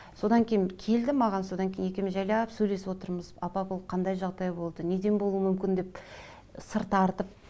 содан кейін келді маған содан кейін екеуміз жайлап сөйлесіп отырмыз апа бұл қандай жағдай болды неден болуы мүмкін деп сыр тартып